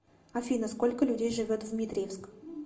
афина сколько людей живет в дмитриевск